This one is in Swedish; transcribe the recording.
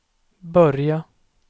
börja